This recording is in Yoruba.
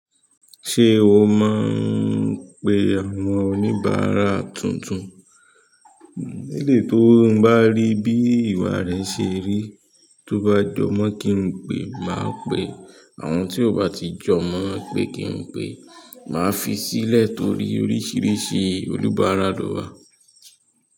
Ṣé o máa ń pe àwọn oníbàárà tuntun? Leleyi tó ń bá rí bí ìwà rẹ ṣe rí, tó bá jọ mọ̀ kí n pè, máa pè. Àwọn tí ò bá ti jọ mọ̀ pé kí n pè, màá fi sílẹ̀ torí oríṣiríṣi oníbàárà ló wà.